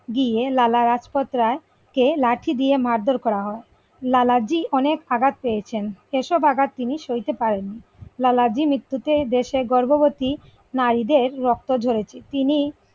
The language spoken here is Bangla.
গিয়ে লালা রাজপথ রায়কে লাঠি দিয়ে মারধর করা হয় লালাজি অনেক আঘাত পেয়েছেন সেসব আঘাত তিনি সইতে পারেন লালা জি মৃত্যুতে দেশের গর্ভবতী নারীদের রক্ত ঝরেছে তিনি।